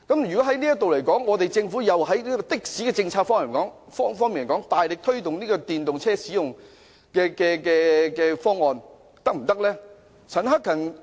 如果是這樣，政府從的士政策方面，大力推動使用電動車的方案，又是否可行呢？